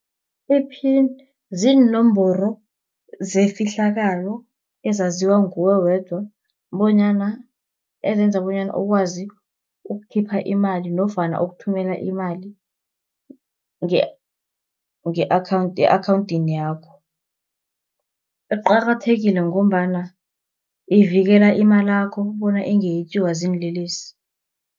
Iphini, ziinomboro zefihlakalo ezaziwa nguwe wedwa, bonyana, ezenza bonyana ukwazi ukukhipha imali, nofana ukuthumela imali e-akhawunthini yakho. Iqakathekile ngombana ivikela imalakho bona ingetjiwa ziinlelesi.